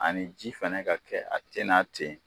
Ani ji fɛnɛ ka kɛ a tɛ na ten